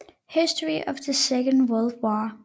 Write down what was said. History of the Second World War